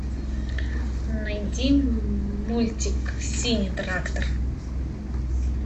найди мультик синий трактор